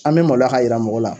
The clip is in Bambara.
An bɛ maloya k'a yira mɔgɔw la